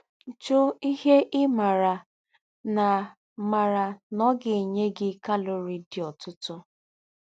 Jụ́ íhe ị́ mààrà nà mààrà nà ọ̀ gà-ènyé gí kálórìé díí òtụ́tụ́